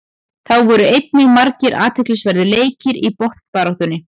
Þá voru einnig margir athyglisverðir leikir í botnbaráttunni.